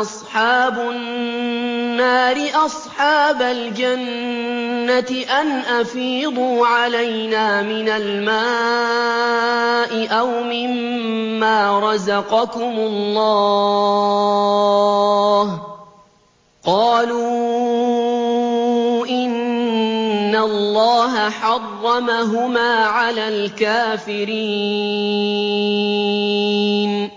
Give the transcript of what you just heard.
أَصْحَابُ النَّارِ أَصْحَابَ الْجَنَّةِ أَنْ أَفِيضُوا عَلَيْنَا مِنَ الْمَاءِ أَوْ مِمَّا رَزَقَكُمُ اللَّهُ ۚ قَالُوا إِنَّ اللَّهَ حَرَّمَهُمَا عَلَى الْكَافِرِينَ